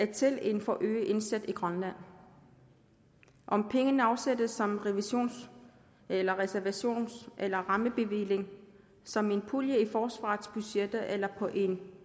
til en forøget indsats i grønland om pengene afsættes som revisions eller reservations eller rammebevilling som en pulje i forsvarets budgetter eller på en